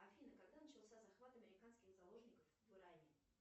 афина когда начался захват американских заложников в иране